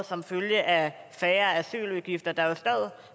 som følge af færre asyludgifter